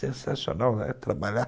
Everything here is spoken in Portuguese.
Sensacional, né, trabalhar.